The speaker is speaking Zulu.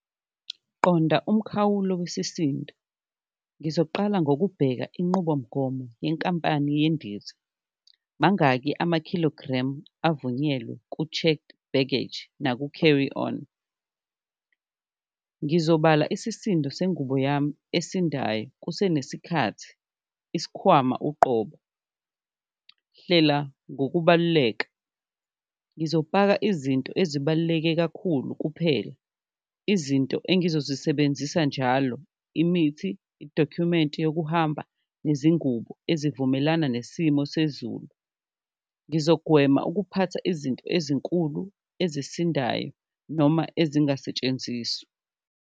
Qonda umkhawulo wesisindo, ngizoqala ngokubheka inqubomgomo yenkampani yendiza, mangaki ama-kilogram avunyelwe ku-checked baggage naku-carry-on, ngizobala isisindo sengubo yami esindayo kusenesikhathi. Isikhwama uqobo, hlela ngokubaluleka ngizofaka izinto ezibaluleke kakhulu kuphela, izinto engizozisebenzisa njalo imithi, i-document yokuhamba nezingubo ezivumelana nesimo sezulu. Ngizogwema ukuphatha izinto ezinkulu ezisindayo noma ezingasetshenziswa.